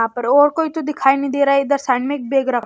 यहां पर और कोई तो दिखाई नहीं दे रहा इधर साइड में बैग रख--